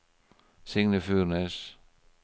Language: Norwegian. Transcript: Signe Furnes